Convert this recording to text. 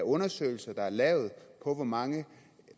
undersøgelser der er lavet om hvor mange